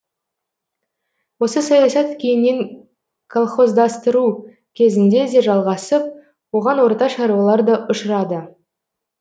осы саясат кейіннен колхоздастыру кезінде де жалғасып оған орта шаруалар да ұшырады